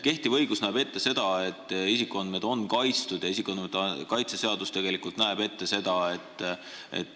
Kehtiv õigus, isikuandmete kaitse seadus näeb ette seda, et isikuandmed on kaitstud.